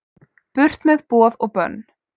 Burt með boð og bönn